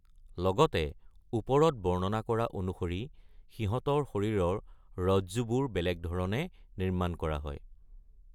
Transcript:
লগতে, ওপৰত বৰ্ণনা কৰা অনুসৰি সিহঁতৰ শৰীৰৰ ৰজ্জুবোৰ বেলেগ ধৰণে নিৰ্মাণ কৰা হয়।